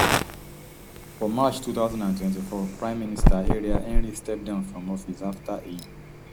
for march two thousand and twenty-four prime minister ariel henry step down from office afta e